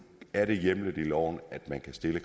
er hjemlet i loven at man kan stille